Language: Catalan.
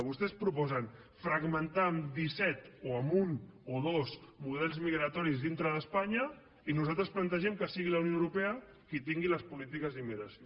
vostès proposen fragmentar en disset o en un o dos models migratoris dintre d’espanya i nosaltres plantegem que sigui la unió europea qui tingui les polítiques d’immigració